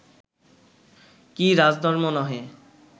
কি রাজধর্ম্ নহে